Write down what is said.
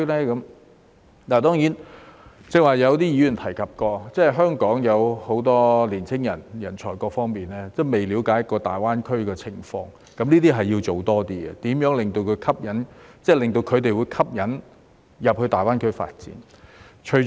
剛才有議員提到，香港有很多年青人或人才仍未了解大灣區的情況，這方面要多做工夫，吸引他們到大灣區發展。